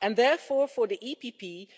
And, therefore, for the EPP,